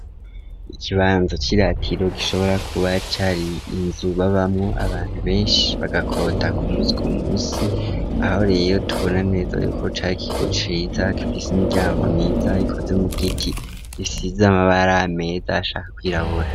Ikibanza c'iratiro gishobora kuba cari inzu babamwo abantu beshi bagakota ku musi ku musi ahorere tubona neza yuko cari ikigo ciza gifise imiryango myiza ikoze mu giti isize amabara meza ashaka kwirabura.